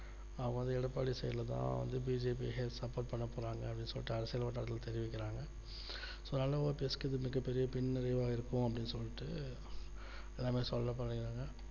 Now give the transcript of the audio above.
அதாவது எடப்பாடி side ல தான் வந்து BJPsupport பண்ண போறாங்க அப்படின்னு சொல்லிட்டு அரசியல் தொண்டர்கள் தெரிவிக்கிறாங்க so அதனால OPS க்கு இது மிகப்பெரிய பின் விளைவாக இருக்கும் அப்படின்னு சொல்லிட்டு எல்லாமே சொல்லப்படுறாங்க